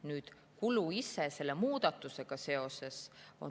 Nüüd kulu ise selle muudatusega seoses.